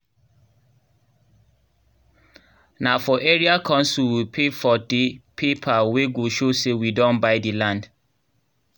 nah for area council we pay for teh paper wey go show say we don by the land